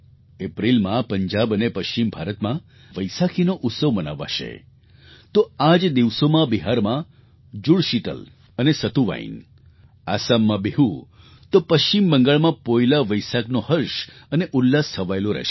એપ્રિલમાં પંજાબ અને પશ્ચિમ ભારતમાં વૈસાખીનો ઉત્સવ મનાવાશે તો આ જ દિવસોમાં બિહારમાં જુડશીતલ અને સતુવાઇન આસામમાં બિહુ તો પશ્ચિમ બંગાળમાં પોઇલા વૈસાખનો હર્ષ અને ઉલ્લાસ છવાયેલો રહેશે